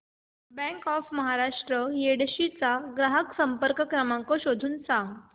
bank of Maharashtra Yedshi चा ग्राहक संपर्क क्रमांक शोधून सांग